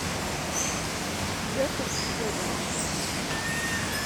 петр федоров